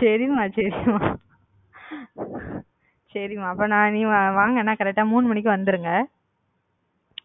செரி மா செரி மா செரி மா அப்ப நீங்க வாங்க என்ன correct டா மூணு மணிக்கு வந்துருங்க